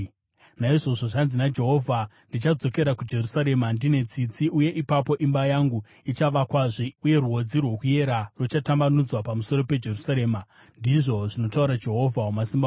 “Naizvozvo, zvanzi naJehovha: ‘Ndichadzokera kuJerusarema ndine tsitsi, uye ipapo imba yangu ichavakwazve. Uye rwodzi rwokuyera ruchatambanudzwa pamusoro peJerusarema,’ ndizvo zvinotaura Jehovha Wamasimba Ose.